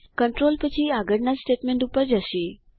control પછી આગળના statement પર થશે